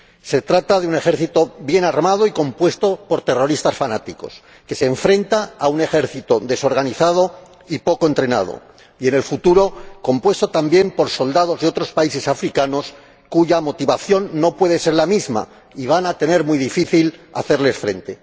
Se trata de un ejército bien armado y compuesto por terroristas fanáticos que se enfrenta a un ejército desorganizado y poco entrenado, y en el futuro compuesto también por soldados de otros países africanos cuya motivación no puede ser la misma, y van a tener muy difícil hacerles frente.